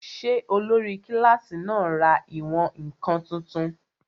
Ṣé olórí kílásì náà ra ìwọ̀n-ǹkan tuntun?